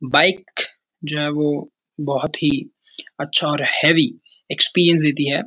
Bike जो है वो बहुत ही अच्छा और हैवी एक्सपीरियंस देती है।